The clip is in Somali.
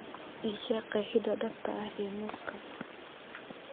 ii sheeg qeexida dhabta ah ee muuska